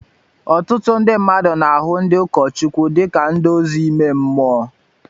Ọtụtụ ndị mmadụ na-ahụ ndị ụkọchukwu dị ka nduzi ime mmụọ